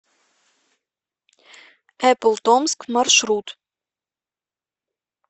эпплтомск маршрут